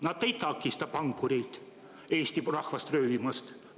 Nad ei takista pankureid Eesti rahvast röövimast.